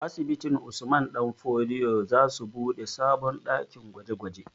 Asibitin Usman ɗan fodio za su buɗe sabon ɗakin gwaje gwaje